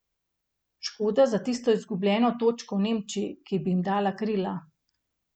Škoda za tisto izgubljeno točko v Nemčiji, ki bi jim dala krila.